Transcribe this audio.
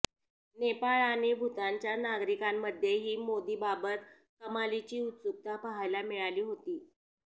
नेपाळ आणि भूतानच्या नागरिकांमध्येही मोदींबाबत कमालीची उत्सुकता पाहायला मिळाली होती